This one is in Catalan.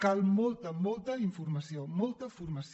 cal molta molta informació molta formació